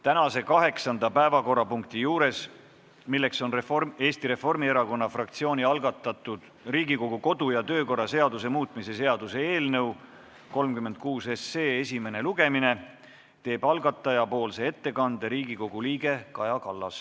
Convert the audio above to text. Tänase kaheksanda päevakorrapunkti juures, milleks on Eesti Reformierakonna fraktsiooni algatatud Riigikogu kodu- ja töökorra seaduse muutmise seaduse eelnõu 36 esimene lugemine, teeb algatajapoolse ettekande Riigikogu liige Kaja Kallas.